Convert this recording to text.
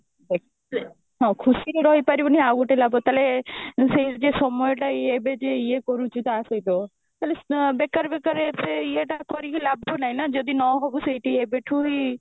ଦେଖ ତୁ ହଁ ଖୁସିରେ ରହିପାରିବୁନି ଆଉ ଗୋଟେ ଲାଭ ତାହେଲେ ସେଇ ଯେ ସମୟ ଟା ଇଏ ଏବେ ଯେ ଇଏ କରୁଛି ତା ସହିତ ତାହାଲେ ବେକାର ବେକାର ଏତେ ଇଏ ଟା କରିକି ଲାଭ ନାହିଁ ଯଦି ନହବ ସେଇଠି ଏବେ ଠୁ ହି